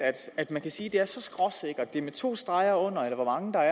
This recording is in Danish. at man kan sige det så skråsikkert det er med to streger under eller hvor mange der